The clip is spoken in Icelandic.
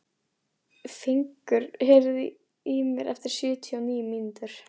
Fengur, heyrðu í mér eftir sjötíu og níu mínútur.